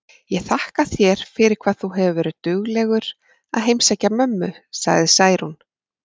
Ég þakka þér fyrir hvað þú hefur verið duglegur að heimsækja mömmu, sagði Særún.